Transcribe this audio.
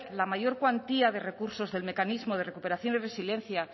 la mayor cuantía de recursos del mecanismo de recuperación y resiliencia